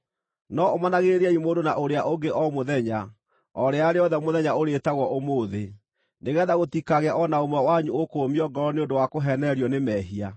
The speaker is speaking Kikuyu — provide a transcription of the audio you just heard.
No ũmanagĩrĩriai mũndũ na ũrĩa ũngĩ o mũthenya, o rĩrĩa rĩothe mũthenya ũrĩĩtagwo Ũmũthĩ, nĩgeetha gũtikagĩe o na ũmwe wanyu ũkũũmio ngoro nĩ ũndũ wa kũheenererio nĩ mehia.